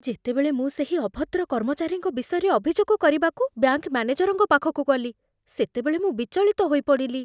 ଯେତେବେଳେ ମୁଁ ସେହି ଅଭଦ୍ର କର୍ମଚାରୀଙ୍କ ବିଷୟରେ ଅଭିଯୋଗ କରିବାକୁ ବ୍ୟାଙ୍କ ମ୍ୟାନେଜର୍ଙ୍କ ପାଖକୁ ଗଲି, ସେତେବେଳେ ମୁଁ ବିଚଳିତ ହୋଇପଡ଼ିଲି।